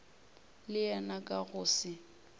le yena ka go se